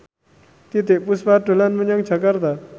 Titiek Puspa dolan menyang Jakarta